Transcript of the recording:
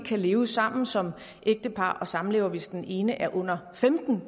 kan leve sammen som ægtepar og samlevende hvis den ene er under femten